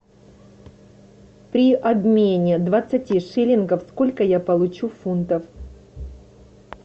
при обмене двадцати шиллингов сколько я получу фунтов